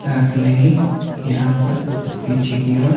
साथ में ही यहां पर पीछे की ओर--